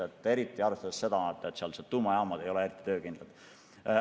Ja arvestada tuleb ka seda, et sealsed tuumajaamad ei ole eriti töökindlad.